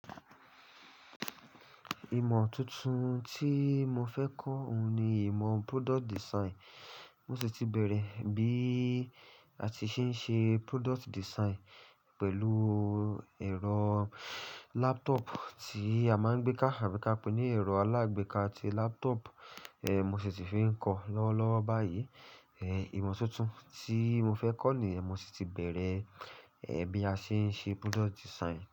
Ìmọ̀ tuntun tí mo fẹ́ kọ́ òun ni ìmọ̀ product design. Mo sì ti bẹ̀rẹ̀ bí a ti ṣe ń ṣe product design pẹ̀lú ẹ̀rọ laptop tí a máa ń gbé ká, àbí ká pè é ní ẹ̀rọ alágbéká ti laptop. Eh, mo sì ti fi ń kọ lọ́wọ́ lọ́wọ́ báyìí. Eh, ìmọ̀ tuntun tí mo fẹ́ kọ́ ni mo sì ti bẹ̀rẹ̀, eh, bí a ṣe ń ṣe product design.